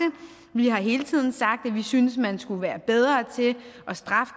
vi har hele tiden sagt at vi synes at man skulle være bedre til at straffe